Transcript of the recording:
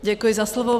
Děkuji za slovo.